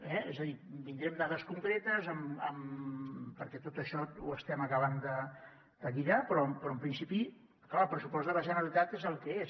és a dir vindré amb dades concretes perquè tot això ho estem acabant de lligar però en principi clar el pressupost de la generalitat és el que és